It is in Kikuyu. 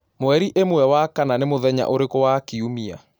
mwerĩĩmwe wa kana ni muthenya urĩku wa kiumia